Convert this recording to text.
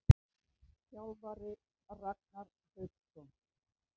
Þjálfari: Ragnar Hauksson.